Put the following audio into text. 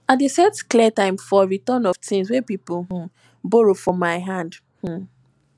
i dey set clear time for return of tins wey pipo um borrow from my hand um